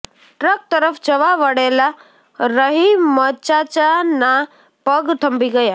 truck તરફ જવા વળેલા રહીમચાચાના પગ થંભી ગયા